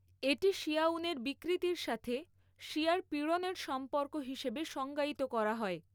এটি শিয়া্উনের বিকৃতির সাথে শিয়ার পীড়নের সম্পর্ক হিসেবে সংজ্ঞায়িত করা হয়।